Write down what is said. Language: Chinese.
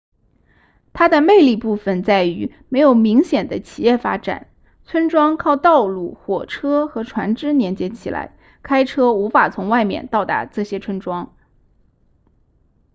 它的魅力部分在于没有明显的企业发展村庄靠道路火车和船只连接起来开车无法从外面到达这些村庄